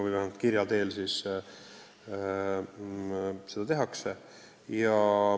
See on siis kirja teel nõuanne.